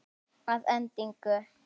Að endingu